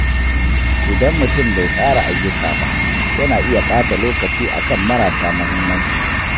Idan mutum bai tsara ayyuka ba, yana iya ɓata lokaci akan marasa muhimmanci.